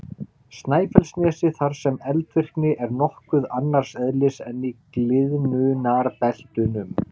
Snæfellsnesi þar sem eldvirkni er nokkuð annars eðlis en í gliðnunarbeltunum.